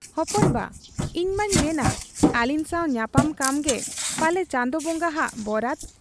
ᱦᱚᱯᱚᱱ ᱵᱟ ᱤᱧᱢᱟᱹᱧ ᱢᱮᱱᱟ ᱟᱹᱞᱤᱧ ᱥᱟᱶ ᱧᱟᱯᱟᱢ ᱠᱟᱢᱜᱮ ᱯᱟᱞᱮ ᱪᱟᱸᱫᱚ ᱵᱚᱝᱜᱟ ᱦᱟᱜ ᱵᱚᱨᱟᱫᱽ ᱾